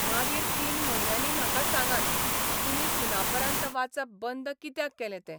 मागीर तीन म्हयन्यांनी म्हाका सांगात, तुमी सुनापरान्त वाचप बंद कित्याक केलें तें.